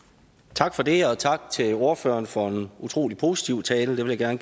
tak for det og tak til ordføreren for en utrolig positiv tale det vil jeg